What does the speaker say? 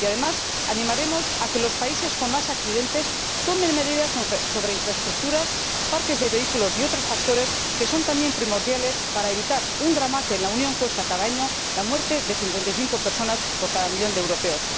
Además, animaremos a que los países con más accidentes tomen medidas sobre infraestructuras, parques de vehículos y otros factores que son también primordiales para evitar un drama que en la Unión supone cada año la muerte de 55 personas por cada millón de europeos.